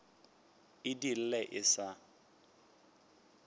e di lle e sa